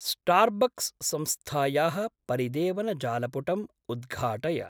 Starbucks संस्थायाः परिदेवनजालपुटम् उद्घाटय।